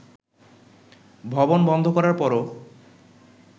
ভবন বন্ধ করার পরও